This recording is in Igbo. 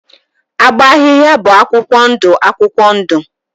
Agba ahịhịa bụ akwụkwọ ndụ akwụkwọ ndụ